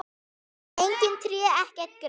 Engin tré, ekkert gras.